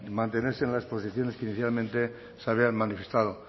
mantenerse en las posiciones que inicialmente se habían manifestado